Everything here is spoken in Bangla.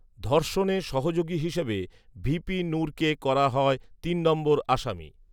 ধর্ষণে সহযোগী হিসেবে ভিপি নূরকে করা হয় তিন নম্বর আসামি